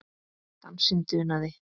Dansinn dunaði.